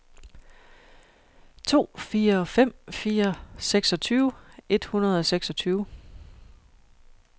to fire fem fire seksogtyve et hundrede og seksogtyve